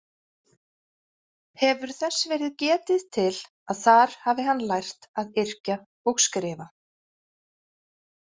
Hefur þess verið getið til að þar hafi hann lært að yrkja og skrifa.